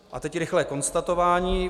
A teď rychlé konstatování.